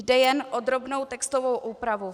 Jde jen o drobnou textovou úpravu.